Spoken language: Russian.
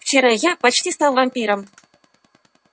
вчера я почти стал вампиром